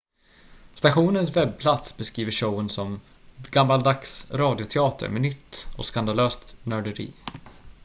stationens webbplats beskriver showen som gammaldags radioteater med nytt och skandalöst nörderi